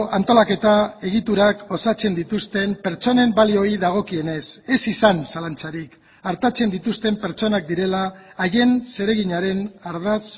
antolaketa egiturak osatzen dituzten pertsonen balioei dagokienez ez izan zalantzarik artatzen dituzten pertsonak direla haien zereginaren ardatz